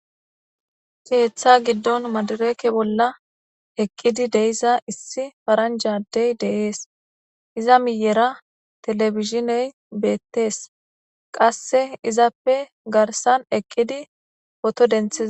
keeththa giddon madireke bolla eqqidi deiza issi faranjadey deees iza miyera telebishiney beettees qasse izappe garsan eqqidi poto dentee